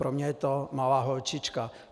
Pro mě je to malá holčička!